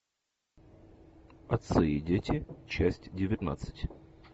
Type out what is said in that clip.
отцы и дети часть девятнадцать